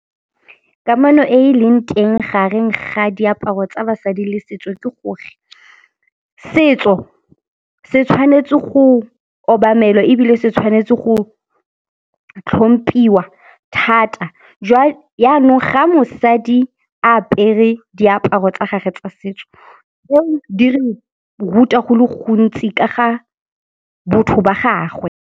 Kamano e e leng teng gareng ga diaparo tsa basadi le setso ke gore setso se tshwanetse go obamelwa ebile se tshwanetse go tlhompiwa thata . Jaanong ga mosadi a apere diaparo tsa gage tsa setso, tseo di re ruta go le gontsi ka ga botho ba gagwe.